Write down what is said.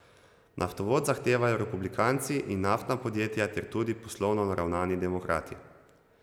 Naftovod zahtevajo republikanci in naftna podjetja ter tudi poslovno naravnani demokrati.